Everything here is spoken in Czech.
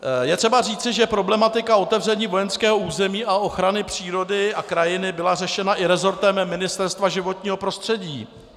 Je třeba říci, že problematika otevření vojenského území a ochrany přírody a krajiny byla řešena i resortem Ministerstva životního prostředí.